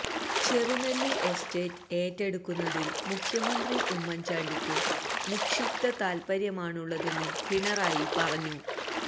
ചെറുനെല്ലി estate ഏറ്റെടുക്കുന്നതില് മുഖ്യമന്ത്രി ഉമ്മന്ചാണ്ടിക്ക് നിക്ഷിപ്ത താല്പര്യമാണുള്ളതെന്നും പിണറായി പറഞ്ഞു